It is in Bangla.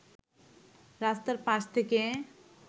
রাস্তার পাশ থেকে